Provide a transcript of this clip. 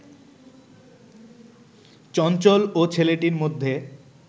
চঞ্চল ও ছেলেটির মধ্যে